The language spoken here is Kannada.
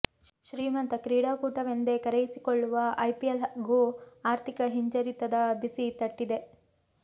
ಶ್ರೀಮಂತ ಕ್ರೀಡಾಕೂಟವೆಂದೇ ಕರೆಯಿಸಿಕೊಳ್ಳುವ ಐಪಿಎಲ್ ಗೂ ಆರ್ಥಿಕ ಹಿಂಜರಿತದ ಬಿಸಿ ತಟ್ಟಿದೆ